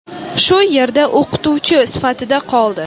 shu yerda o‘qituvchi sifatida qoldi.